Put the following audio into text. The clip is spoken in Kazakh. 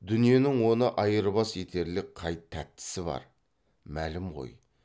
дүниенің оны айырбас етерлік қай тәттісі бар мәлім ғой